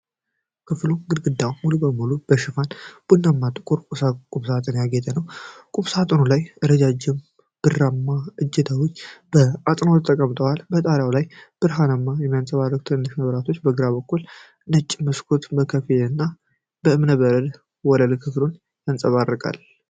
ክፍሉ ግድግዳውን ሙሉ በሙሉ በሸፈነ ቡናማና ጥቁር ቁምሳጥን ያጌጠ ነው። ቁምሳጥኑ ላይ ረጃጅም ብርማ እጀታዎች በአጽንዖት ተቀምጠዋል። በጣሪያው ላይ ብርሃን የሚያንጸባርቁ ትናንሽ መብራቶችና ከግራ በኩል ነጭ መስኮት በከፊልና፣ የእብነ በረድ ወለል ክፍሉን ያንጸባርቃል።